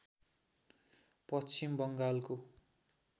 पश्चिम बङ्गालको